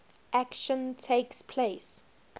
action takes place